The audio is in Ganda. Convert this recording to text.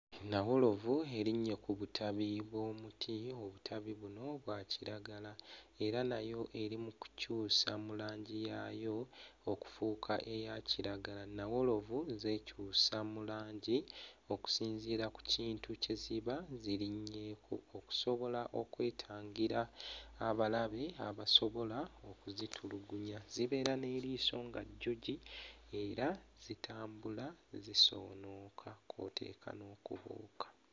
Nnawolovu erinnye ku butabi bw'omuti obutabi buno bwa kiragala era nayo eri mu kukyusa mu langi yaayo okufuuka eya kiragala nnawolovu zeekyusa mu langi okusinziira ku kintu kye ziba zirinnyeeko okusobola okwetangira abalabe abasobola okuzitulugunya. Zibeera n'eriiso nga jjogi era zitambula zisoonooka kw'oteeka n'okubuuka.